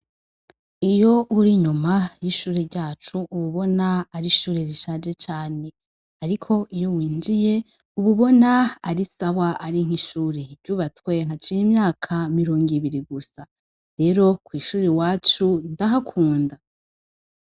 Iyo uri inyuma y'ishure ryacu uba ubona ari ishure rishaje cane, ariko iyo winjiye uba ubona ari sawa ari ishure ry'ubatswe haciye imyaka mirongo ibiri gusa, rero kw'ishure iwacu ndahakunda.